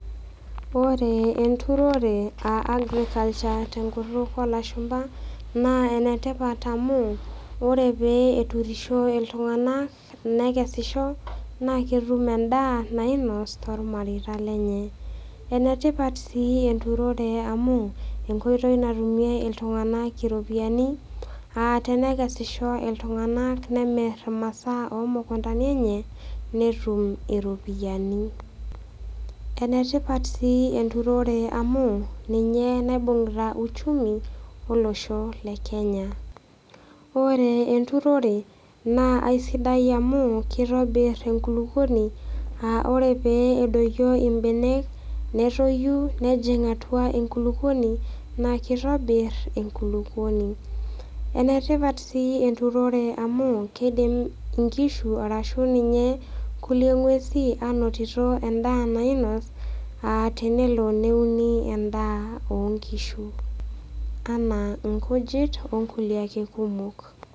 Ore enturore aa agriculture te enkutuk oo lashumba naa enetipat amu ore pee eturisho iltung'ana, nekesisho naa ketum endaa nainos toolmareita lenye. Enetipat sii enturore amu enkoitoi natumie iltung'ana iropiani aa tenekesisho iltung'ana nemir imasaa o mukuntani enye, netum iropiani. Enetipat sii enturore amu ninye naibungita uchumi olosho le Kenya. Ore enturore naa aisidai amu keitobir enkulukuoni aa ore pee edoiyo imbenek metoyu nejing' atua enkulukuoni naa keitobir enkulukuoni. Enetipat sii enturore amu keidim inkishu arashu ninye kulie ng'uesi ainotito endaa nainos aa tenelo neuni endaa oo nkishu anaa inkujit o kulie ake kumok.